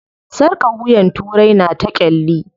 Sarƙar wuyan turai na ta ƙyalli.